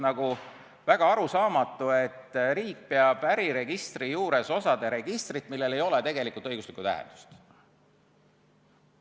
Minule on arusaamatu, et riik peab äriregistri juures osade registrit, millel ei ole tegelikult õiguslikku tähendust.